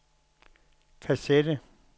kassette